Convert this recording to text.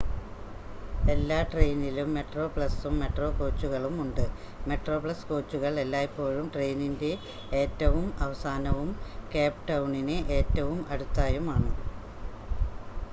എല്ലാ ട്രെയിനിലും മെട്രോപ്ലസും മെട്രോ കോച്ചുകളും ഉണ്ട് മെട്രോപ്ലസ് കോച്ചുകൾ എല്ലായ്‌പ്പോഴും ട്രെയിനിൻ്റെ ഏറ്റവും അവസാനവും കേപ്പ് ടൗണിന് ഏറ്റവും അടുത്തായും ആണ്